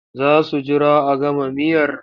Za su jira a gama miyar?